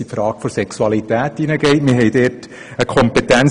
Wir haben dort eine wie folgt lautende Kompetenz: